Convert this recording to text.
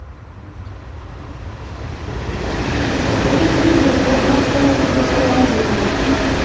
эрик привет вот мы установили приложение